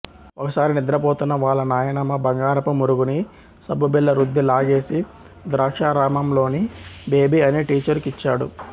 ఒకసారి నిద్రపోతున్న వాళ్ల నాయనమ్మ బంగారపుమురుగుని సబ్బుబిళ్లరుద్ది లాగేసి ద్రాక్షారామమ్లోని బేబి అనే టీచరుకిచ్చాడు